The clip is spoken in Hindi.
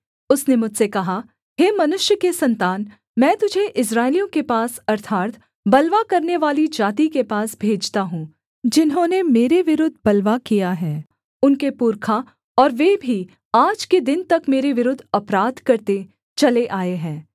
उसने मुझसे कहा हे मनुष्य के सन्तान मैं तुझे इस्राएलियों के पास अर्थात् बलवा करनेवाली जाति के पास भेजता हूँ जिन्होंने मेरे विरुद्ध बलवा किया है उनके पुरखा और वे भी आज के दिन तक मेरे विरुद्ध अपराध करते चले आए हैं